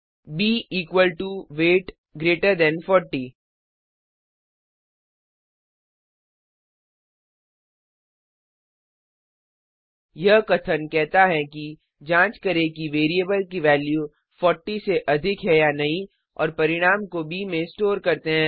ब equal to weight greater than 40 यह कथन कहता है कि जांच करें कि वैरिएबल की वैल्यू 40 से अधिक है या नहीं और परिणाम को ब में स्टोर करते हैं